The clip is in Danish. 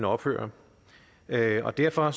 ophører derfor derfor